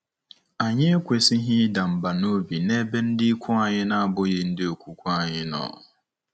Anyị ekwesịghị ịda mbà n'obi n'ebe ndị ikwu anyị na-abụghị ndị okwukwe anyị nọ.